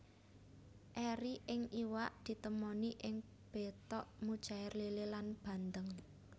Eri ing iwak ditemoni ing betok mujair lélé lan bandeng